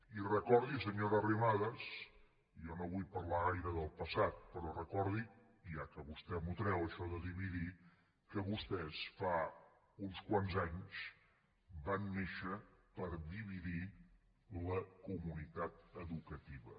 i recordi senyora arrimadas jo no vull parlar gaire del passat però recordiho ja que vostè m’ho treu això de dividir que vostès fa uns quants anys van néixer per dividir la comunitat educativa